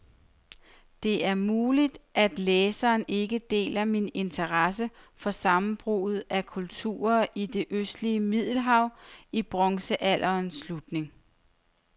Det er muligt, læseren ikke deler min interesse for sammenbruddet af kulturerne i det østlige middelhav i bronzealderens slutning.